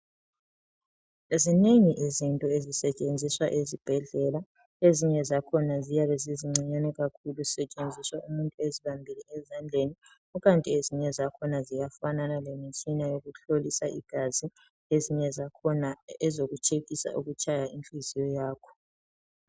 Zinengi izinto ezisetshenziswa ezibhedlela ezinye zakhona ziyabe zizincinyane kakhulu zisetshenziswa umuntu ezibambile ezandleni kukanti ezinye zakhona ziyafanana lemitshina yokuhlolisa igazi ezinye zakhona ngezokutshekhisa ukutshaya kwenhiziyo yakho.